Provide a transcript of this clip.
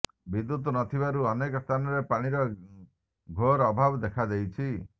ବିଦ୍ୟୁତ୍ ନଥିବାରୁ ଅନେକ ସ୍ଥାନରେ ପାଣିର ଘୋର ଅଭାବ ଦେଖାଦେଇଛି